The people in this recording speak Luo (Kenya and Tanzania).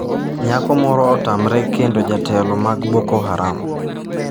Nyako moro otamre kendo jotelo mag Boko Haram